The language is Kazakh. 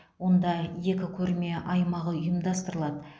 онда екі көрме аймағы ұйымдастырылады